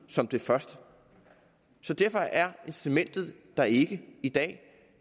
som det første så derfor er incitamentet der ikke i dag